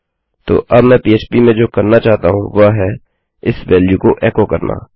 तो अब मैं पह्प में जो करना चाहता हूँ वह है इस वेल्यू को एको करना